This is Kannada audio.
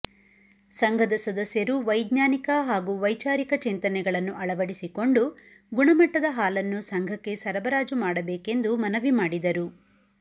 ಸಂಘದ ಸದಸ್ಯರು ವೈಜ್ಞಾನಿಕ ಹಾಗೂ ವೈಚಾರಿಕ ಚಿಂತನೆಗಳನ್ನು ಅಳವಡಿಸಿಕೊಂಡು ಗುಣಮಟ್ಟದ ಹಾಲನ್ನು ಸಂಘಕ್ಕೆ ಸರಬರಾಜು ಮಾಡಬೇಕೆಂದು ಮನವಿ ಮಾಡಿದರು